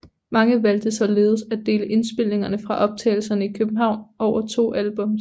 Man valgte således at dele indspillingerne fra optagelserne i København over to albums